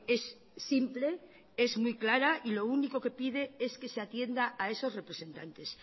es simple es muy clara y lo único que pide es que se atienda a esos representantes